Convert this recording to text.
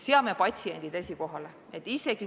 Seame patsiendid esikohale!